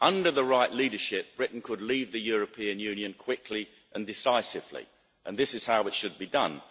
Under the right leadership, Britain could leave the European Union quickly and decisively, and this is how it should be done.